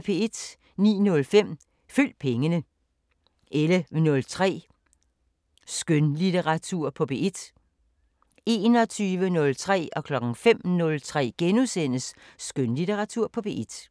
09:05: Følg pengene 11:03: Skønlitteratur på P1 21:03: Skønlitteratur på P1 * 05:03: Skønlitteratur på P1 *